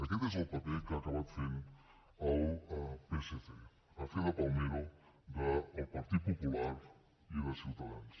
aquest és el paper que ha acabat fent el psc a fer de palmero del partit popular i de ciutadans